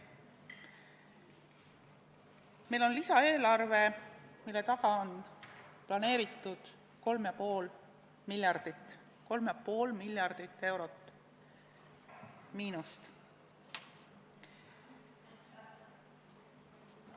Meil on lisaeelarve, mille taga on planeeritud 3,5 miljardit eurot miinust.